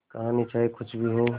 कहानी चाहे कुछ भी हो